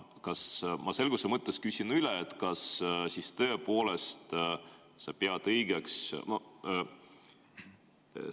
Ma selguse mõttes küsin üle: kas sa tõepoolest pead seda õigeks?